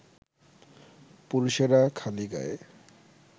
পুরুষেরা খালি গায়ে